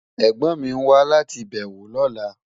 Ẹ̀gbón mi ń wà láti bẹwọ́ lọ́lá.